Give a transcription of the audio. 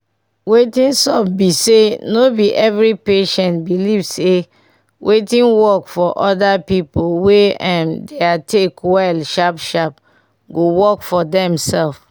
wetin sup be say no be every patient believe say wetin work for other pipo wey um their take well sharp sharp go work for dem sef